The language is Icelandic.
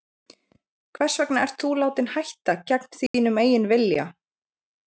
Hvers vegna ert þú látinn hætta, gegn þínum eigin vilja?